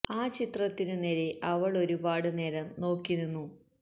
ആ ചിത്രത്തിനു നേരെ അവള് ഒരു പാട് നേരം നോക്കി നിന്നു